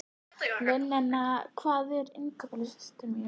Linnea, hvað er á innkaupalistanum mínum?